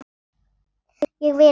Ég vil ekki.